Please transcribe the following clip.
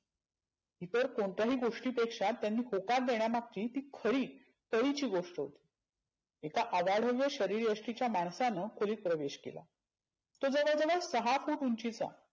इतर कोणत्याही गोष्टीपेक्षा त्यानी होकार देण्यामागची ती खरी कळीची गोष्ट होती. एका अवाढव्य शरिर येष्टिच्या माणसानं खोलीत प्रवेश केला. तो लगभग सहा फुट उंचिचा.